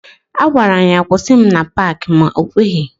A gwaram ya kwụsị m na Paaki ma o kweghi.